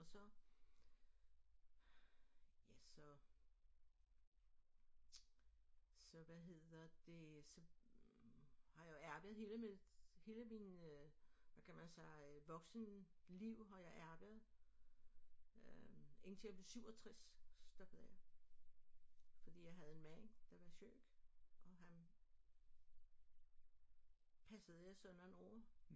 Og så ja så så hvad hedder det så har jeg arbejdet hele mit hele min øh hvad kan man sige voksenliv har jeg arbejdet øh indtil jeg blev 67 så stoppede jeg fordi jeg havde en mand der var syg og han passede jeg så nogle år